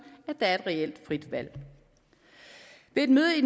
at der er et reelt frit valg ved et møde i